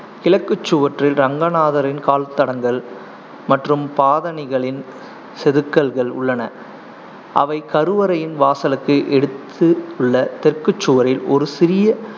கிழக்குச் சுவற்றில் ரங்கநாதரின் கால்தடங்கள் மற்றும் பாதணிகளின் செதுக்கல்கள் உள்ளன, அவை கருவறையின் வாசலுக்கு எடுத்துள்ள தெற்குச் சுவரில் ஒரு சிறிய